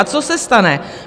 A co se stane?